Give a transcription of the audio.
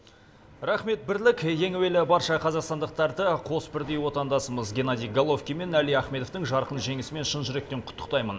рахмет бірлік ең әуелі барша қазақстандықтарды қос бірдей отандасымыз геннадий головкин мен әли ахметовтың жарқын жеңісімен шын жүректен құттықтаймын